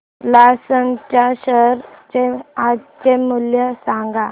Larsen च्या share चे आजचे मूल्य सांगा